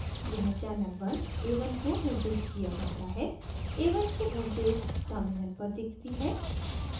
यहाँ channel 1 a1 को निर्दिष्ट किया जाता है a1 की voltage terminal पर दिखती है